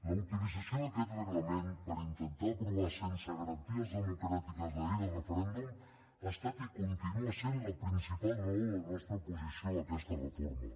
la utilització d’aquest reglament per intentar aprovar sense garanties democràtiques la llei del referèndum ha estat i continua sent la principal raó de la nostra oposició a aquesta reforma